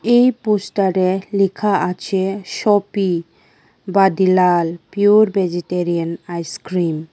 এই পোস্টারে লেখা আছে shoppe Vadilal pure vegetarian ice cream.